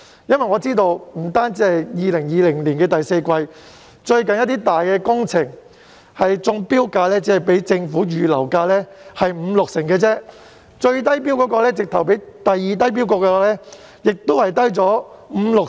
據我所知，不單2020年的第四季，即使是最近一些大型工程的中標價，均只是政府預留價的五六成而已，最低標價甚至比次低標價低出五至六成。